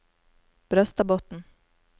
Brøstadbotn